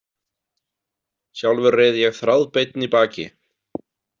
Sjálfur reið ég þráðbeinn í baki.